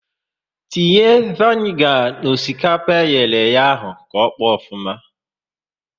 Tinye vanigar n'osikapa eyere eye ahụ ka ọkpọ ofuma!